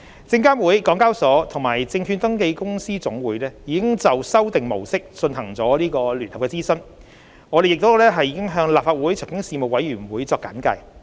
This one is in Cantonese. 證監會、港交所及證券登記公司總會已就修訂模式進行了聯合諮詢，我們亦已向立法會財經事務委員會作簡介。